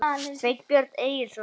Sveinbjörn Egilsson.